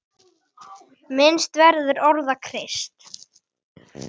Minnst verður orða Krists.